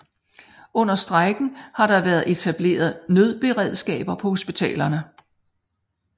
Under strejken har der været etableret nødberedskaber på hospitalerne